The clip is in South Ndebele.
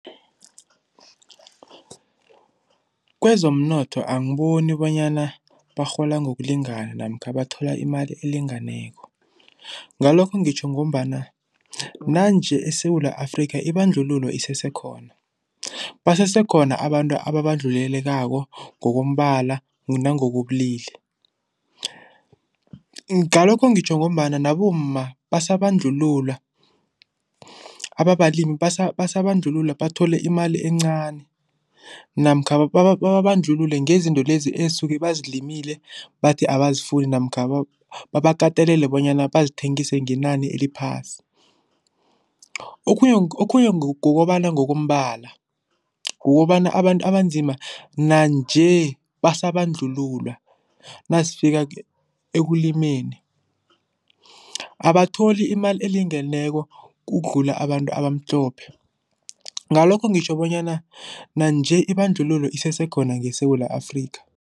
Kwezomnotho angiboni bonyana barhola ngokulingana namkha bathola imali elingeneko. Ngalokho ngitjho ngombana nanje eSewula Afrika ibandlululo isesekhona, basesekhona abantu ababandlulelekako ngokombala nangokobulili. Ngalokho ngitjho ngombana nabomma basabandlululwa, ababalimi basabandlululwa, bathole imali encani namkha babandlulule ngezinto lezi esuke bazilimile bathi abasazifuni namkha babakatelele bonyana bazithengise ngenani eliphasi. Okhunye okhunye ngokobana ngokombala, kukobana abantu abanzima nanje basabandlululwa nazifika ekulimeni. Abatholi imali elingeneko ukudlula abantu abamhlophe, ngalokho ngitjho bonyana nanje ibandlululo isesekhona ngeSewula Afrika.